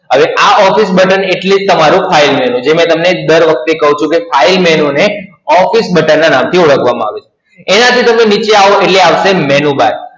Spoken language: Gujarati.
હવે આ Office button એટલે જ તમારૂ File Menu જે મે તમને દર વખતે કહું છું કે File Menu ને Office Button ના નામ થી ઓળખવામાં આવે છે. એનાથી તમે નીચે આવો એટલે આવશે Menu Bar